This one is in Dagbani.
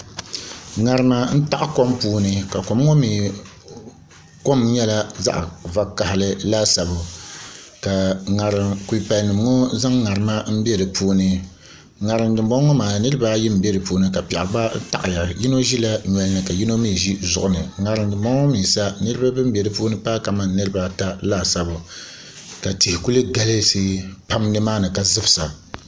ŋarima n taɣa kom puuni ka kom ŋo mii kom nyɛla zaŋ vakaɣali laasabu ka kulipali nim ŋo zaŋ ŋarima bɛ di puuni ŋarim dinboŋo ŋo maa niraba ayi n bɛ di puuni ka piɛɣu gba taɣaya yino ʒila nyoli ni ka yimo mii ʒi zuɣu ni ŋarim dinboŋo mii sa niraba bin bɛ di puuni paai kamani niraba ata laasabu ka tihi kuli galisi pam nimaani ka zimsa